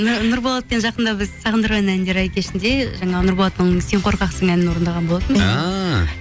нұрболатпен жақында біз сағындырған әндер ай кешінде жаңағы нұрболаттың сен қорқақсың әнін орындаған болатынбыз ааа